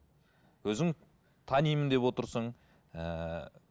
өзің танимын деп отырсың ііі